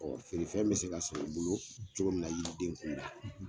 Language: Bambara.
Ɔ feere fɛn be se ka san i bolo cogo min na yiri den kun la